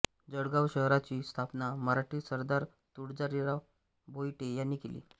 जळगाव शहराची स्थापना मराठी सरदार तुळाजीराव भोईटे यांनी केली